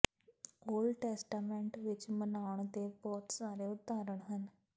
old Testament ਵਿਚ ਮਨਾਉਣ ਦੇ ਬਹੁਤ ਸਾਰੇ ਉਦਾਹਰਣ ਹਨ